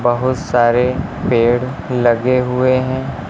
बहुत सारे पेड़ लगे हुए है।